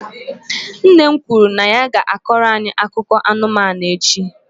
Nne m kwuru na ya ga-akọrọ anyị akụkọ akụkọ anụmanụ echi.